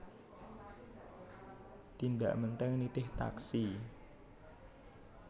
Tindak Menteng nitih taksi